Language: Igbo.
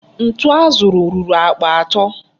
Ntu a zụrụ ruru akpa atọ.